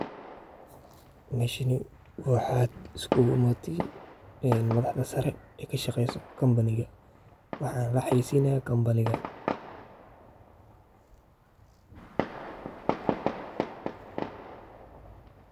Waa shirkad maaliyadeed oo hormuud u ah horumarinta adeegyadeeda bangiyada ee Bariga iyo Bartamaha Afrika, iyadoo xarunteedu tahay dalka Kenya, waxayna bixisaa adeegyo bangi oo kala duwan sida kaydinta lacagaha, bixinta deynta, bangiyada ganacsiga, adeegyada dhijitaalka ah.